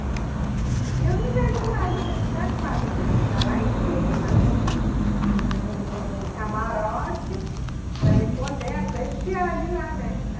E eu não vejo nada dentro da quadra, eu tinha que estar lá em cima, né no no no camarote, para me poder apreciar de lá, né?